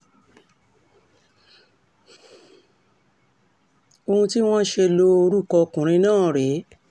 ohun tí wọ́n ṣe lo orúkọ ọkùnrin náà rèé